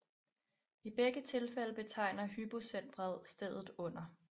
I begge tilfælde betegner hypocentret stedet under